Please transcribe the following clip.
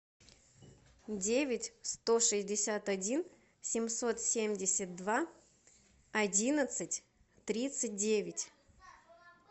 девять сто шестьдесят один семьсот семьдесят два одиннадцать тридцать девять